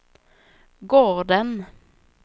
gården